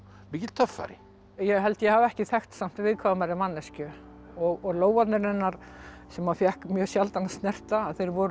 mikill töffari ég held ég hafi ekki þekkt samt viðkvæmari manneskju og lófarnir hennar sem maður fékk mjög sjaldan að snerta þeir voru